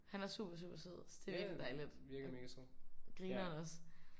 Han er super super sød så det er virkeligt dejligt. Og grineren også